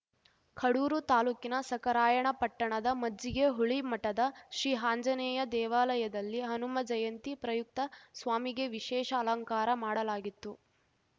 ಕಡೂರು ತಾಲೂಕಿನ ಸಖರಾಯಣಪಟ್ಟಣದ ಮಜ್ಜಿಗೆಹುಳಿ ಮಠದ ಶ್ರೀ ಆಂಜನೇಯ ದೇವಾಲಯದಲ್ಲಿ ಹನುಮ ಜಯಂತಿ ಪ್ರಯುಕ್ತ ಸ್ವಾಮಿಗೆ ವಿಶೇಷ ಅಲಂಕಾರ ಮಾಡಲಾಗಿತ್ತು